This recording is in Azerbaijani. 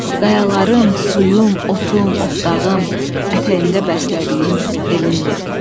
qayalarım, suyum, otum, otlağım, ətəyimdə bəslədiyim elindir.